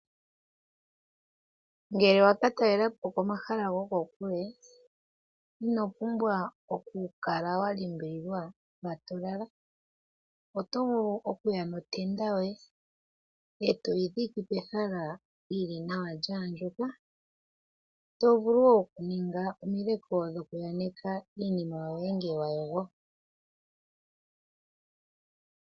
Ngele wa ka talela po komahala gokokule ino pumbwa okukala wa limbililwa mpa to lala. Oto vulu okuya notenda yoye, e to yi dhike pehala yi li nawa lya andjuka. To vulu wo okuninga omileko dhoku aneka iinima yoye ngele wa yogo.